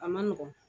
A ma nɔgɔn